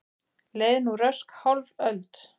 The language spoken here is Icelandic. Leið nú rösk hálf öld.